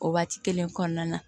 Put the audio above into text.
O waati kelen kɔnɔna na